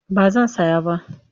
Ba zan saya ba.